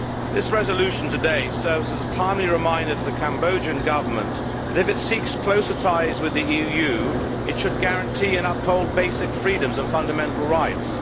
This resolution today serves as a timely reminder to the Cambodian Government that if it seeks closer ties with the EU it should guarantee and uphold basic freedoms and fundamental rights.